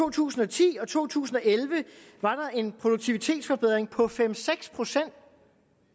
to tusind og ti og to tusind og elleve var der en produktivitetsforbedring på fem seks procent